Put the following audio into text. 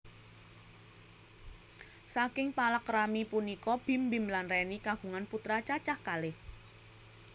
Saking palakrami punika Bim Bim lan Reny kagungan putra cacah kalih